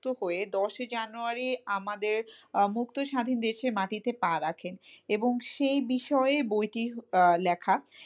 হয়ে দশই জানুয়ারি আমাদের আহ মুক্ত স্বাধীন দেশের মাটিতে পা রাখেন এবং সেই বিষয়ে বইটি আহ লেখা,